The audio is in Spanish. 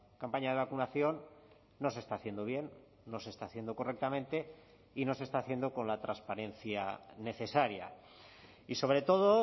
campaña de vacunación no se está haciendo bien no se está haciendo correctamente y no se está haciendo con la transparencia necesaria y sobre todo